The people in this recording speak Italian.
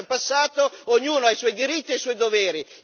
Il passato è passato, ognuno ha i suoi diritti e i suoi doveri.